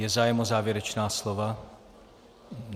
Je zájem o závěrečná slova?